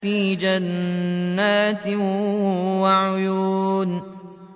فِي جَنَّاتٍ وَعُيُونٍ